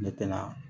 Ne tɛna